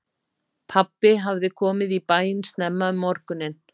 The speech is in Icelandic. Pabbi hafði komið í bæinn snemma um morguninn.